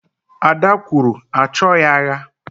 Ada kwuru, achoghị agha